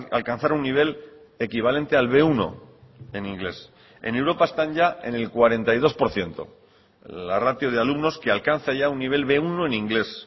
alcanzar un nivel equivalente al be uno en inglés en europa están ya en el cuarenta y dos por ciento la ratio de alumnos que alcanza ya un nivel be uno en inglés